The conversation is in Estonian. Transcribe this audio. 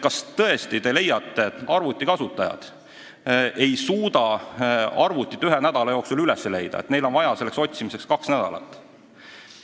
Kas te tõesti leiate, et arvutikasutajad ei suuda arvutit ühe nädala jooksul üles leida, et neil on vaja selleks kaks nädalat?